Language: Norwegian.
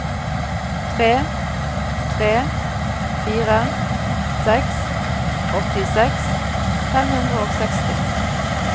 tre tre fire seks åttiseks fem hundre og seksti